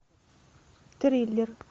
триллер